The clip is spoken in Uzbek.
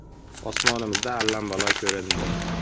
“Osmonimizda allambalo ko‘rindi!!!